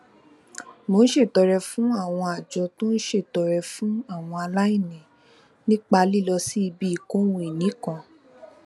mo ń ṣètọrẹ fún àwọn àjọ tó ń ṣètọrẹ fún àwọn aláìní nípa lílọ sí ibi ìkóhunìní kan